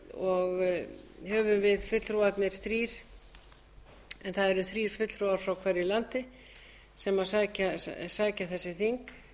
og höfum við fulltrúarnir þrír það eru þrír fulltrúar frá hverju landi sem sækja þessi þing